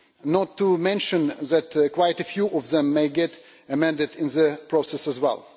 not to mention that quite a few of them may get amended in the process as well.